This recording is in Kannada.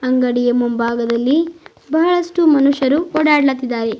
ಅಂಗಡಿಯ ಮುಂಭಾಗದಲ್ಲಿ ಬಹಳಷ್ಟು ಮನುಷ್ಯರು ಓಡಾಡ್ಲತಿದಾವೆ.